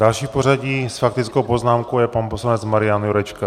Další v pořadí s faktickou poznámkou je pan poslanec Marian Jurečka.